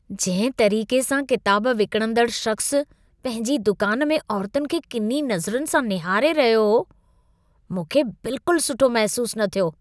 जंहिं तरीक़े सां किताब विकिणंदड़ु शख़्सु पंहिंजी दुकान में औरतुनि खे किनी नज़रुनि सां निहारे रहियो हो, मूंखे बिल्कुलु सुठो महिसूसु न थियो।